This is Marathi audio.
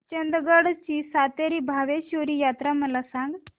चंदगड ची सातेरी भावेश्वरी यात्रा मला सांग